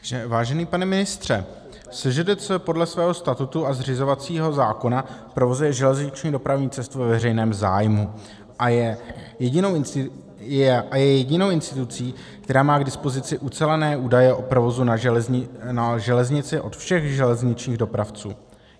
Vážený pane ministře, SŽDC podle svého statutu a zřizovacího zákona provozuje železniční dopravní cestu ve veřejném zájmu a je jedinou institucí, která má k dispozici ucelené údaje o provozu na železnici od všech železničních dopravců.